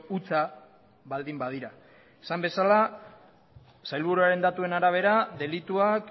hutsa baldin badira esan bezala sailburuaren datuen arabera delituak